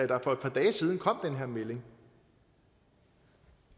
der for et par dage siden kom den her melding